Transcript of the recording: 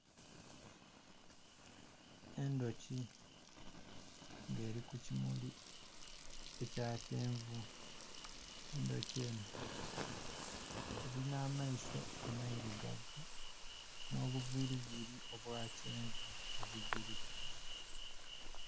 Endoki nga eriku kimuli ekya kyenvu endoki eno erina maiso amairugavu nobuviriviri obwakyenvu obujiriku